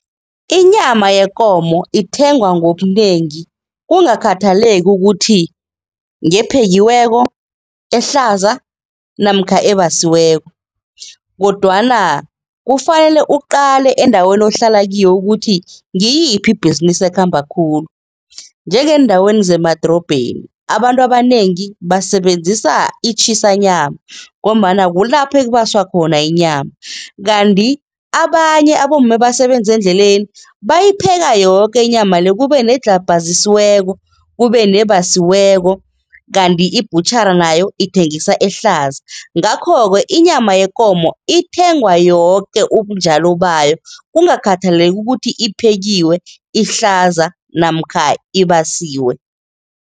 Inyama yekomo ithengwa ngobunengi kungakhathaleki ukuthi ngephekiweko, ehlaza namkha ebasiweko kodwana kufanele uqale endaweni ohlala kiyo ukuthi ngiyiphi ibhizinisi ekhamba khulu. Njengeendaweni zemadorobheni, abantu abanengi basebenzisa i-Chisanyama ngombana kulapho ekubaswa khona inyama kanti abanye abomma ebasebenza endleleni, bayipheka yoke inyama le, kube nedlhabhazisweko, kube nebasiweko kanti i-butchery nayo ithengisa ehlaza. Ngakho-ke inyama yekomo ithengwa yoke ubunjalo bayo, kungakhathaleki ukuthi iphekiwe, ihlaza namkha ibasiwe.